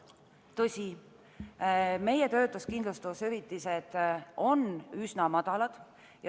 Tõsi, meie töötuskindlustushüvitised on üsna madalad.